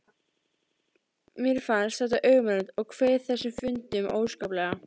Mér fannst þetta ömurlegt og kveið þessum fundum óskaplega.